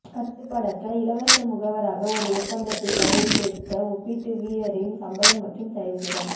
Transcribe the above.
கட்டுப்பாடற்ற இலவச முகவராக ஒரு ஒப்பந்தத்தில் கையெழுத்திட்ட ஒப்பீட்டு வீரரின் சம்பளம் மற்றும் செயல்திறன்